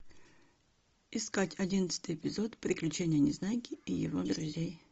искать одиннадцатый эпизод приключения незнайки и его друзей